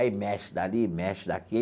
Aí mexe dali, mexe daqui.